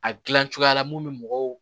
A gilan cogoya la mun bɛ mɔgɔw